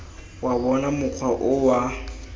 wa bona mokgwa o wa